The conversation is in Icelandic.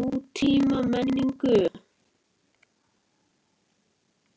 nútímamenningu.